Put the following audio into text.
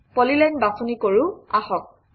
polyline বাছনি কৰোঁ আহক